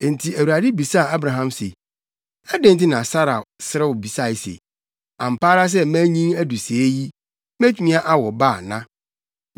Enti Awurade bisaa Abraham se, “Adɛn nti na Sara serew bisae se, ‘Ampa ara sɛ manyin adu sɛɛ yi, metumi awo ba ana?’